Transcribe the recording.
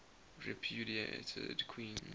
repudiated queens